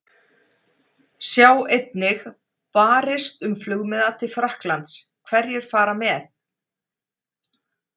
Sjá einnig: Barist um flugmiða til Frakklands- Hverjir fara með?